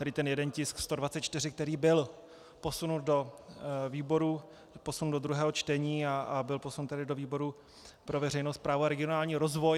Tady ten jeden tisk 124, který byl posunut do výboru, posunut do druhého čtení a byl posunut tedy do výboru pro veřejnou správu a regionální rozvoj.